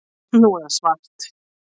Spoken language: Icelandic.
Nú er það svart